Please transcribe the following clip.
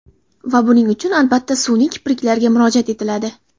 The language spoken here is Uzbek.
Va buning uchun, albatta, sun’iy kipriklarga murojaat etiladi.